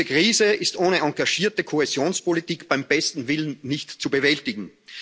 Diese Krise ist ohne engagierte Kohäsionspolitik beim besten Willen nicht zu bewältigen.